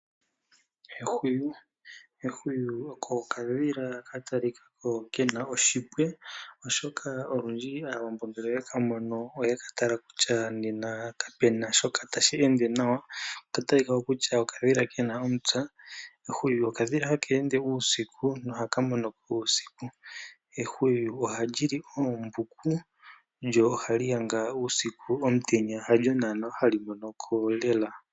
Ehwiyu oko okadhila ka talika ko ke na oshipwe, oshoka olundji Aawambo ngele oye ka mono oye ka tala kutya kapuna shoka tashi ende nawa, ehwiyu olya talika ko onga okadhila kena omupya. Ehwiyu okadhila ha ka ende uusiku noha ka mono ko uusiku. Ehwiyu ohali li oombuku lyo ohali yanga uusiku , omutenya ihali mono ko lela.